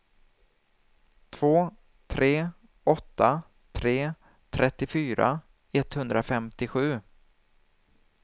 två tre åtta tre trettiofyra etthundrafemtiosju